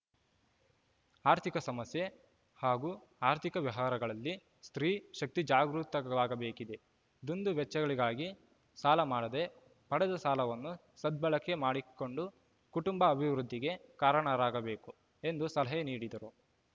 ಆರ್ಥಿಕ ಸಮಸ್ಯೆ ಹಾಗೂ ಆರ್ಥಿಕ ವ್ಯವಹಾರಗಳಲ್ಲಿ ಸ್ತ್ರೀ ಶಕ್ತಿ ಜಾಗೃತವಾಗಬೇಕಿದೆ ದುಂದು ವೆಚ್ಚಗಳಿಗಾಗಿ ಸಾಲ ಮಾಡದೆ ಪಡೆದ ಸಾಲವನ್ನು ಸದ್ಬಳಕೆ ಮಾಡಿಕೊಂಡು ಕುಟುಂಬ ಅಭಿವೃದ್ಧಿಗೆ ಕಾರಣರಾಗಬೇಕು ಎಂದು ಸಲಹೆ ನೀಡಿದರು